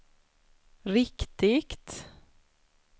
riktigt